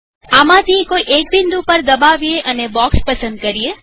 આમાંથી કોઈ એક બિંદુ પર દબાવીએ અને બોક્ષ પસંદ કરીએ